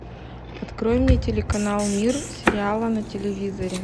открой мне телеканал мир сериала на телевизоре